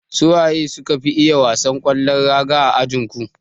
Su waye suka fi iya wasan kwallon raga a ajinku?